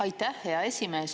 Aitäh, hea esimees!